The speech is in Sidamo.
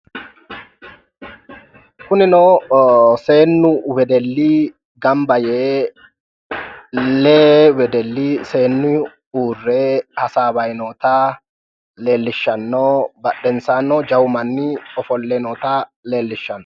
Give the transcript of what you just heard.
kunino seennu wedelli ganba yee lee wedelli seenni uurre hasawayi noota leellishshanno badhensaannino jawu manni ofolle noota leellishshanno misileeti.